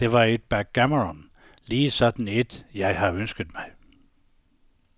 Det var et backgammon, lige sådan et jeg har ønsket mig.